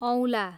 औला